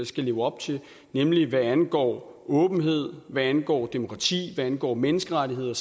skal leve op til nemlig hvad angår åbenhed hvad angår demokrati hvad angår menneskerettigheder